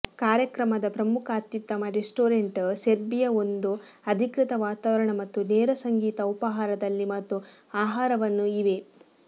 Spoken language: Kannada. ಕಾರ್ಯಕ್ರಮದ ಪ್ರಮುಖ ಅತ್ಯುತ್ತಮ ರೆಸ್ಟೋರೆಂಟ್ ಸೆರ್ಬಿಯಾ ಒಂದು ಅಧಿಕೃತ ವಾತಾವರಣ ಮತ್ತು ನೇರ ಸಂಗೀತ ಉಪಾಹಾರದಲ್ಲಿ ಮತ್ತು ಆಹಾರವನ್ನು ಇವೆ